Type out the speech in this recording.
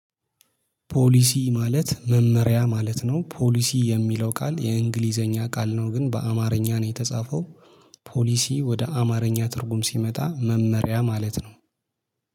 ፖሊሲ ማለት መመሪያ ማለት ነው ፖሊሲ የሚለው ቃል የእንግሊዘኛ ቃል ነው ግን በአማርኛ ነው የተጻፈው። ፖሊሲ ወደ አማርኛ ትርጉም ሲመጣ መመሪያ ማለት ነው።